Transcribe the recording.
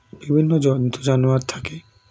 বিভিন্ন জন্তুজানোয়ার থাকে